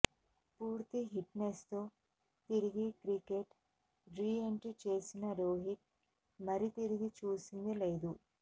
పూర్తి fitness తో తిరిగి క్రికెట్ రీఎంట్రీ చేసిన రోహిత్ మరితిరిగి చూసింది లేదు